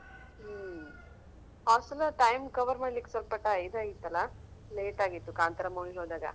ಹ್ಮ್ ಆ ಸಲ time cover ಮಾಡ್ಲಿಕೆ ಸ್ವಲ್ಪ ಇದ್ ಆಯಿತಲ್ಲಾ late ಆಗಿತ್ತು ಕಾಂತಾರ movie ಗೆ ಹೋದಾಗ.